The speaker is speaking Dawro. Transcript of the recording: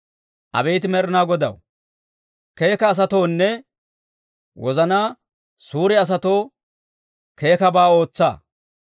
Abeet Med'inaa Godaw, keeka asatoonne, wozanaa suure asatoo keekkabaa ootsa.